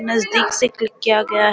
नजदीक से खिड़कियां गया --